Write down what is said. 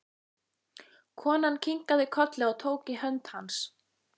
Konan kinkaði kolli og tók í hönd hans.